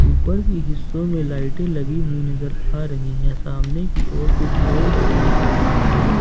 ऊपर की हिस्सों में लाइटें लगी हुई नजर आ रही है सामने की ओर कुछ लोग भी दिख रहे हैं।